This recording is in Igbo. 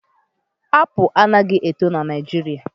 Apụl anaghị eto n'Naijiria